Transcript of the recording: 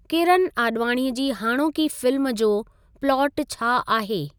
किरन आॾवाणीअ जी हाणोकी फिल्म जो प्लाटु छा आहे?